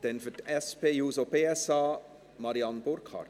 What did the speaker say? Dann für die SP-JUSO-PSA, Marianne Burkhard.